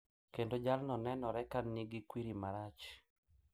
Kendo jalno nenore ka nigi kwiri marach.